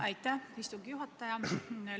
Aitäh, istungi juhataja!